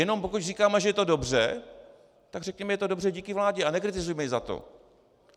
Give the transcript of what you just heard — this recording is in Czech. Jenom pokud říkáme, že je to dobře, tak říkejme, že to je dobře díky vládě, a nekritizujme ji za to.